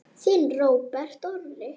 Þinn Róbert Orri.